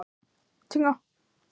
Edgar, hækkaðu í græjunum.